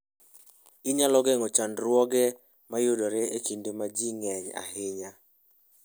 Inyalo geng'o chandruoge mayudore e kinde ma ji ng'enyie ahinya.